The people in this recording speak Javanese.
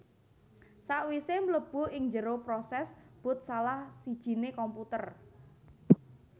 Sakwisé mlebu ing njero prosès boot salah sijiné komputer